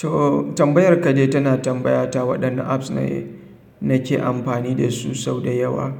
To tambayar ka dai tana tambaya ta waɗanne apps na ke amfani da su sau da yawa.